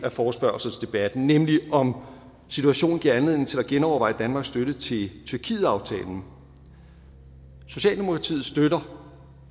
af forespørgselsdebatten nemlig om situationen giver anledning til at genoverveje danmarks støtte til tyrkietaftalen socialdemokratiet støtter